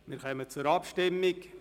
Wir kommen zur Abstimmung.